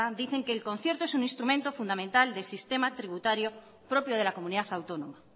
dicen que el concierto es un instrumento fundamental del sistema tributario propio de la comunidad autónoma